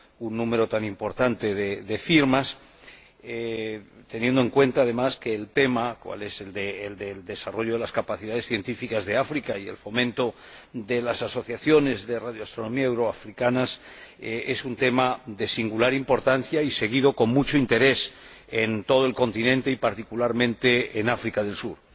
un número tan importante de firmas, teniendo en cuenta, además, que el tema del desarrollo de las capacidades científicas de África y el fomento de las asociaciones de radioastronomía euro africanas es un tema de singular importancia, seguido con mucho interés en todo el continente, y particularmente en África del Sur.